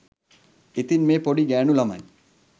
ඉතින් මේ පොඩි ගෑණු ළමයි